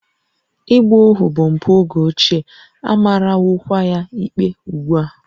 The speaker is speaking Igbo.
Ịgba ohu bụ mpụ oge ochie, a marawokwa ya ikpe ugbu a